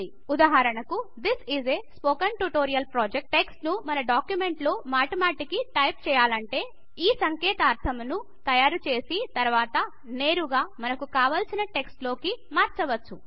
ఉదాహరణకు this is a spoken tutorial project text ను మన డాక్యుమెంట్ లో మాటిమాటికి టైపు చేయాలంటే ఒక సంకేతాక్షరమును తయారు చేసి తర్వాత దీనిని నేరుగా మనకు కావాల్సిన టెక్స్ట్ లోకి మార్చవచ్చు